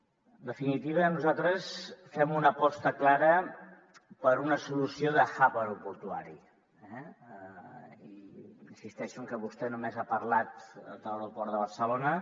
en definitiva nosaltres fem una aposta clara per una solució de hub aeroportuari eh i insisteixo en que vostè només ha parlat de l’aeroport de barcelona